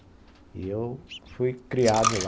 E eu fui criado lá,